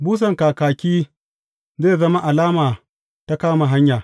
Busan kakaki zai zama alama ta kama hanya.